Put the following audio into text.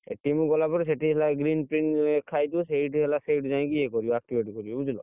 କୁ ଗଲା ପରେ ସେଇଠି ହେଲା ଲେଖା ହେଇଥିବା ସେଇଠି ହେଲା ସେଇଠୁ ଯାଇକି ୟା କରିବ activate କରିବ ବୁଝିଲ।